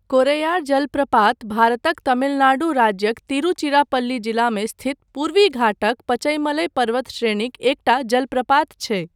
कोरैयार जलप्रपात भारतक तमिलनाडु राज्यक तिरुचिरापल्ली जिलामे स्थित पूर्वी घाटक पचईमलई पर्वतश्रेणीक एकटा जलप्रपात छै।